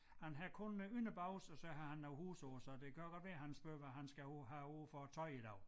Han har kun et par bukser og så har han nogle hoes på så det kan godt være han spørger hvad han skal have på have på for tøj i dag